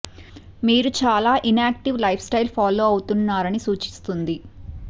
మీరు చాలా inactive lifestyle follow అవుతున్నారని సూచిస్తుంది